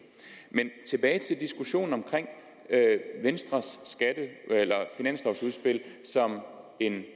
men tilbage til diskussionen om venstres finanslovudspil som en